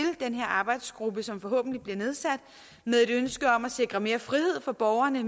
den her arbejdsgruppe som forhåbentlig bliver nedsat med et ønske om at sikre mere frihed for borgerne